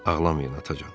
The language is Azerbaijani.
Ağlamayın atacan.